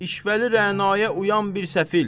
İşvəli rənaya uyan bir səfil.